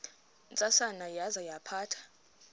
ntsasana yaza yaphatha